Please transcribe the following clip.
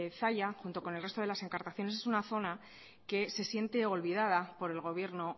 zalla junto con el resto de los encartaciones es una zona que se siente olvidada por el gobierno